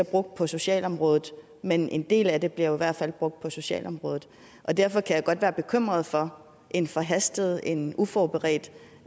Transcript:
brugt på socialområdet men en del af dem bliver i hvert fald brugt på socialområdet og derfor kan jeg godt være bekymret for en forhastet en uforberedt